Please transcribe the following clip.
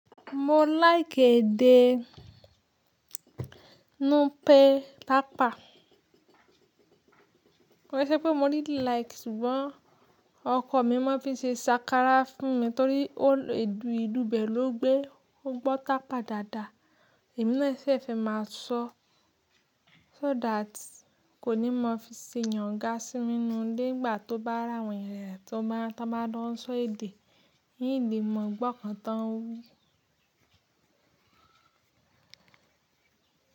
Mo like èdè Nupe tápa. Koi ṣé pé mo didí like ṣùgbọ́n ọkọ mi má n fi ṣe ṣàkárà fún mi torí ó le, ìlu ibe ló gbé. O gbó tàpá dáadáa, èmi náà sì fẹ́ máa sọ, so that kò ní mọ fí ṣe yàn gà sí mí ninu ile nígbà tó bá ri àwọn eeyan rẹ̀ ti wón bá jo n sọ èdè, in lè mọ gbọ́ inkan tó n wí.